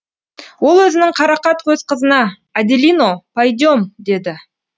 ол өзінің қарақат көз қызына аделино пойдем деді